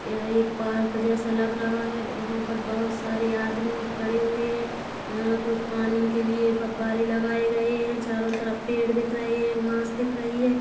यह एक पार्क जैसा लग रहा है यहाँ पर बहुत सारे आदमी खड़े हुए हैं यहाँ कुछ पानी के लिए फब्बारे लगाए गए हैं चारो तरफ पेड़ दिख रहे हैं घाँस दिख रही है।